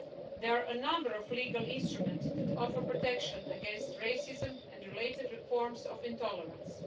There are a number of legal instruments that offer protection against racism and related forms of intolerance.